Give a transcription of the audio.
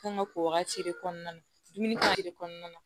Kan ka ko wagati de kɔnɔna na dumuni de kɔnɔna na